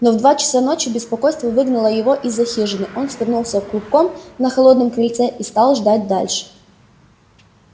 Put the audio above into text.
но в два часа ночи беспокойство выгнало его из за хижины он свернулся клубком на холодном крыльце и стал ждать дальше